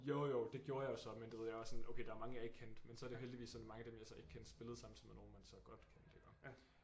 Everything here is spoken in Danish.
Jo jo det gjorde jeg jo så men du ved jeg var sådan okay der var mange jeg ikke kendte men så var det heldigvis sådan mange af dem jeg så ikke kendte spillede samtidig med nogen man så godt genkender